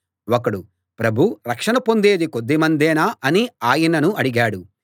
ఒకడు ప్రభూ రక్షణ పొందేది కొద్ది మందేనా అని ఆయనను అడిగాడు